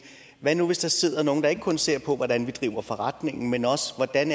hvad nu hvis der sidder nogle der ikke kun ser på hvordan vi driver forretningen men også hvordan